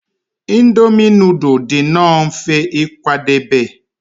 Indomi nudul dị nnọọ mfe ịkwadebe